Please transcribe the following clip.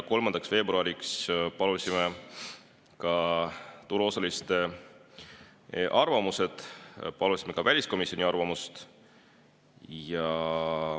3. veebruariks palusime turuosaliste arvamusi ja palusime ka väliskomisjoni arvamust.